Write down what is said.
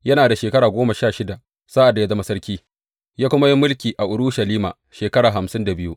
Yana da shekara goma sha shida sa’ad da ya zama sarki, ya kuma yi mulki a Urushalima shekara hamsin da biyu.